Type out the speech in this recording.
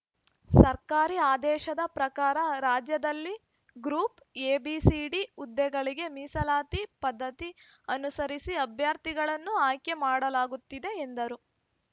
ಸರ್ಕಾರಿ ಆದೇಶದ ಪ್ರಕಾರ ರಾಜ್ಯದಲ್ಲಿ group A B C D ಹುದ್ದೆಗಳಿಗೆ ಮೀಸಲಾತಿ ಪದ್ಧತಿ ಅನುಸರಿಸಿ ಅಭ್ಯರ್ಥಿಗಳನ್ನು ಆಯ್ಕೆ ಮಾಡಲಾಗುತ್ತದೆ ಎಂದರು